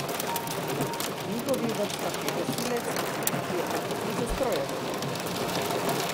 V njihovih vrstah je gasilec, ki je po poklicu strojevodja!